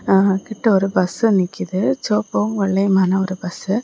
ஆ கிட்ட ஒரு பஸ் நிக்குது சிவப்பூ வெள்ளையுமான ஒரு பஸ்ஸு .